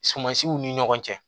Sumansiw ni ɲɔgɔn cɛ